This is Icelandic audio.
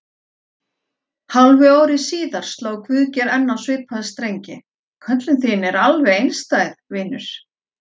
Hálfu ári síðar sló Guðgeir enn á svipaða strengi: Köllun þín er alveg einstæð, vinur.